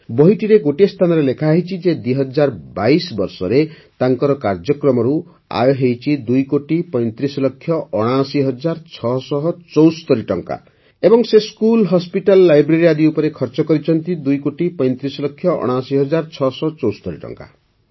ବହିଟିରେ ଗୋଟିଏ ସ୍ଥାନରେ ଲେଖାହୋଇଛି ଯେ ୨୦୨୨ ବର୍ଷରେ ତାଙ୍କର କାର୍ଯ୍ୟକ୍ରମରୁ ଆୟ ହୋଇଛି ଦୁଇକୋଟି ପଇଁତିରିଶ ଲକ୍ଷ ଅଣାଅଶି ହଜାର ଛଅଶହ ଚଉସ୍ତରୀ ଟଙ୍କା ଏବଂ ସେ ସ୍କୁଲ ହସପିଟାଲ ଲାଇବ୍ରେରୀ ଆଦି ଉପରେ ଖର୍ଚ୍ଚ କରିଛନ୍ତି ଦୁଇକୋଟି ପଇଁତିରିଶ ଲକ୍ଷ ଅଣାଅଶି ହଜାର ଛଅଶହ ଚଉସ୍ତରୀ ଟଙ୍କା